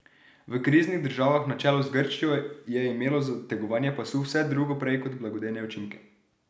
V kriznih državah na čelu z Grčijo je imelo zategovanje pasu vse drugo prej kot blagodejne učinke.